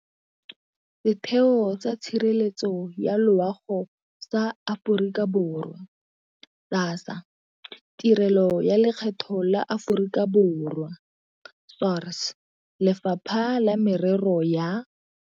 Setheo sa Tshireletso ya Loago sa Aforika Borwa, SASSA, Tirelo ya Lekgetho la Aforika Borwa, SARS, Lefapha la Merero ya.